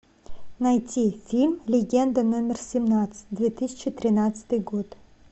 найти фильм легенда номер семнадцать две тысячи тринадцатый год